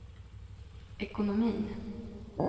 ekonomin